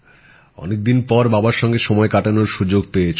অনেক দিন পর বাবার সঙ্গে সময় কাটানোর সুযোগ পেয়েছ